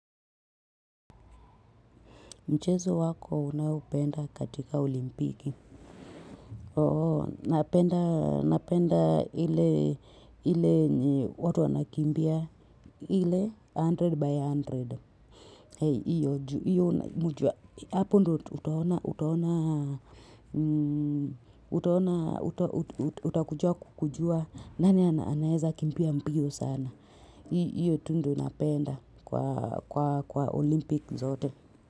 Mchezo wako unaopenda katika olimpiki. Oh, napenda ile yenye watu wanakimbia ile a hundred by a hundred. Hiyo juu hiyo mtu, hapo ndio utaona, utaona, utaona, utakuja kujua, nani anaeza kimbia mbio sana. Hiyo tu ndio napenda kwa olimpiki zote.